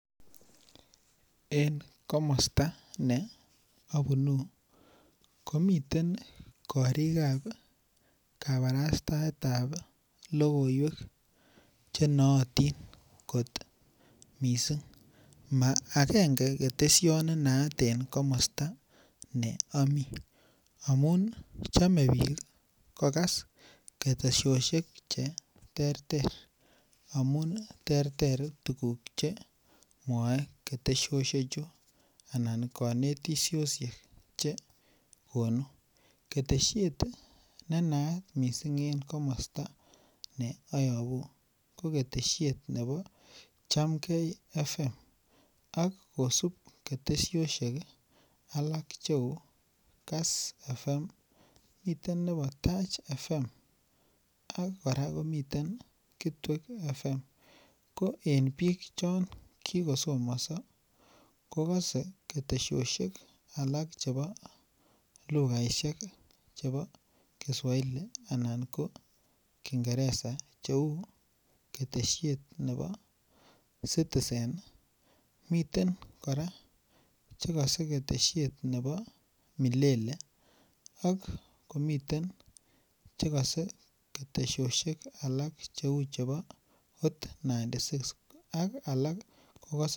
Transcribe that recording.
En komosta ne abunu komiten korikab kabatastaetab lokoiwek chenoyotin kot mising' ma agenge keteshet nenayat eng' komosta neamii amun chomei biik kokas ketesioshek cheterter amun terter tukuk chemwoei keteshoshechu anan kanetisioshek chekonu keteshiet nenayat mising' en komosta neayobu ko keteshiet nebo chamgei FM ak kosub ketesioshek alak cheu kass FM mitei nebo tach FM ak kora komiten kitwek FM ko en biik chon kikosomonso kokose ketesioshek alak chebo lugha ishek chebo kiswahili anan ko kingeresa cheu keteshiet nebo citizen miten kora chekosei keteshiet nebo milele ak miten chekose ketesioshek alak cheu Hot96 ak alak